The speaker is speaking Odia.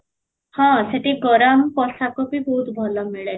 ହଁ, ସେଠି ଗରମ ପୋଷାକ ବି ବହୁତ ଭଲ ମିଳେ